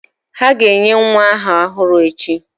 Ha ga-enye nwa aha ọhụrụ echi?